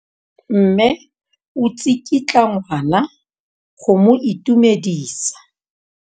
Mme o tsikitla ngwana go mo itumedisa.